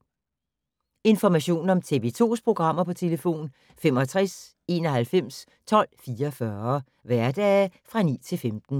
Information om TV 2's programmer: 65 91 12 44, hverdage 9-15.